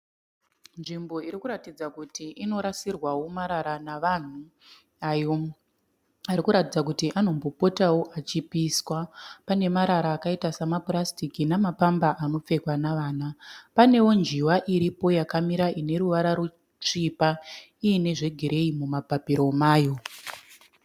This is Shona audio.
Nzvimbo iri kuratidza kuti inorasirwawo marara navanhu, ayo ari kuratidza kuti anombo potawo achipiswa. Pane marara akaita samapurasitiki namapamba anopfekwa navana. Panewo njiva iripo yakamira ine ruvara rusvipa iyine zvegireyi mumapapiro mayo.